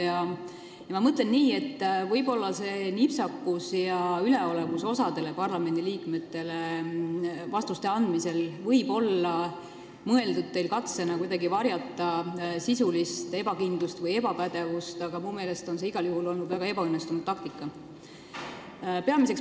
Ma mõtlen nii, et võib-olla see nipsakus ja üleolevus osale parlamendiliikmetele vastuse andmisel võib teil olla mõeldud katsena kuidagi varjata sisulist ebakindlust või ebapädevust, aga minu meelest on see igal juhul olnud väga ebaõnnestunud taktika.